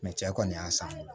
Mɛ cɛ kɔni y'a san